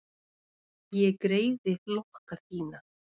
Ég greiði lokka þína.